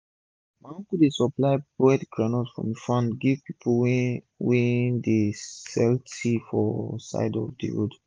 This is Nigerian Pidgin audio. my uncle dey supply boiled groundnut from e farm give pipu wey wey dey sell tea for side of d road